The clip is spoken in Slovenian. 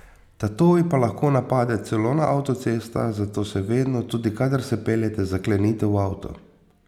Tatovi pa lahko napadejo celo na avtocestah, zato se vedno, tudi kadar se peljete, zaklenite v avto.